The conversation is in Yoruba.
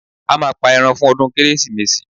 A máa pa ẹran fún ọdún Kérésìmesì